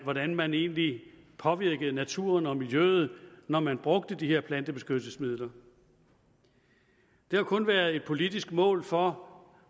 hvordan man egentlig påvirkede naturen og miljøet når man brugte de her plantebeskyttelsesmidler der har kun været et politisk mål for